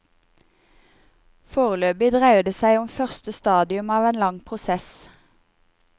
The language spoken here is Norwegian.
Foreløpig dreier det seg om første stadium av en lang prosess.